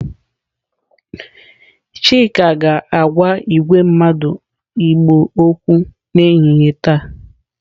Chika ga-agwa igwe mmadu igbo okwu n'ehihie taa.